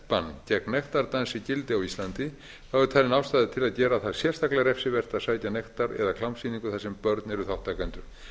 bann gegn nektardansi gildi á íslandi er talin ástæða til að gera það sérstaklega refsivert að sækja nektar eða klámsýningu þar sem börn eru þátttakendur